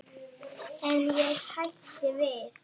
En ég hætti við.